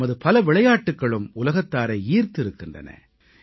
நமது பல விளையாட்டுக்களும் உலகத்தாரை ஈர்த்திருக்கின்றன